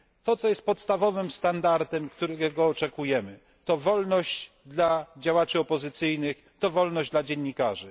To co jest podstawowym standardem, którego oczekujemy, to wolność dla działaczy opozycyjnych, to wolność dla dziennikarzy.